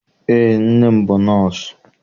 Eé, nne m bụ nọọsụ.